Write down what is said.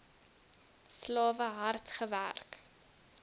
slawe hard gewerk